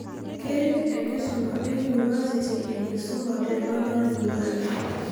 Keret enkisuma e University enkisuma te Northern Uganda.